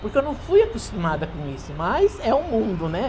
porque eu não fui acostumada com isso, mas é o mundo, né?